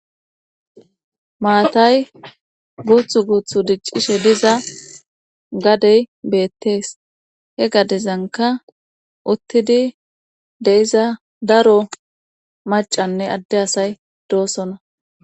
maatay guuthu guuthu diccishe diza gadey beettees he gadezanka uttidi de'iza daro macanne adde asay doosona